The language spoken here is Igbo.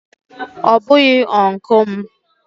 Ọ bụghị Ụnkụ m